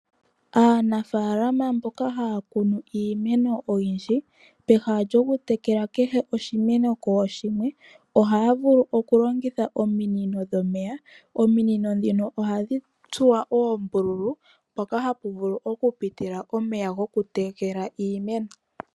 Aanafaalama mboka haya kunu iimeno oyindji, pehala lyoku tekela kehe oshimeno kooshimwe, ohaya vulu oku longitha ominino dhomeya. Ominino ndhino ohadhi tsuwa oombululu hoka haku vulu oku pitila omeya goku tekela iimeno.